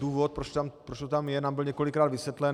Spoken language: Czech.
Důvod, proč to tam je, nám byl několikrát vysvětlen.